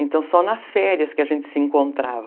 Então só nas férias que a gente se encontrava.